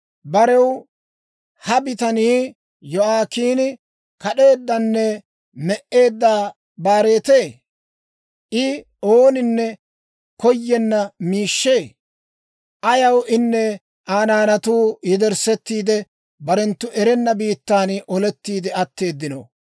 Barew ha bitanii Yo'aakiini, kad'eeddanne me"eedda baaretee? I ooninne koyenna miishshee? Ayaw inne Aa naanatuu yederssetiide, barenttu erenna biittan olettiide atteeddino?